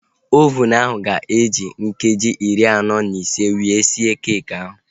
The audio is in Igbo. Ovunu ahu ga-eji nkeji iri anọ na ise were sie keekị ahu